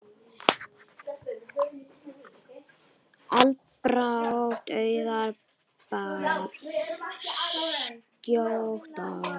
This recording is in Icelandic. Andlát Auðar bar skjótt að.